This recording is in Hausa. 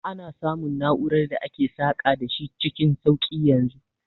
Ana samun na'urar da ake saka da shi cikin sauki yanzu